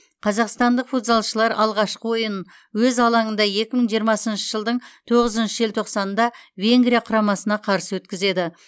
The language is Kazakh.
қазақстандық футзалшылар алғашқы ойынын өз алаңында екі мың жиырмасыншы жылдың тоғызыншы желтоқсанында венгрия құрамасына қарсы өткізеді